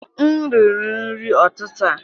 M riri nri ụtụtụ a.